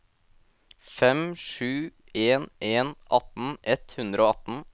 fem sju en en atten ett hundre og atten